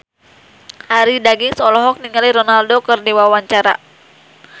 Arie Daginks olohok ningali Ronaldo keur diwawancara